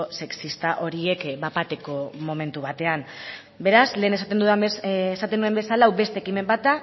sexista horiek bat bateko momentu batean beraz lehen esaten nuen bezala hau beste ekimen bat